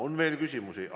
On veel küsimusi.